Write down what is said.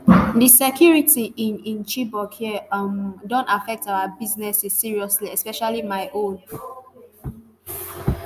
di security in in chibok here um don affect our businesses seriously especially my own